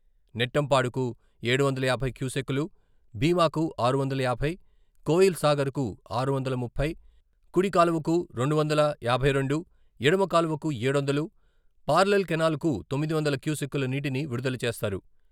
నెట్టెంపాడుకు ఏడు వందల యాభై క్యూసెక్కులు, బీమాకుఆరు వందల యాభై, కోయిల్ సాగర్కు ఆరు వందల ముప్పై, కుడి కాలువకు రెండు వందల యాభై రెండు, ఎడమ కాలువకు ఏడు వందలు, పార్లల్ కెనాల్క తొమ్మిది వందలు క్యూసెక్కులు నీటిని విడుదల చేస్తారు.